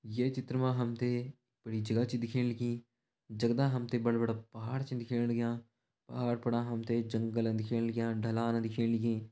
ये चित्र मा हम तें बड़ी जगह छ दिखेण लगीं जगदा हम तें बढ़ा बढ़ा पहाड़ छिन दिखेण लग्यां पहाड़ फणा हम ते जंगल दिखेण लग्यां ढलान दिखेण लगीं।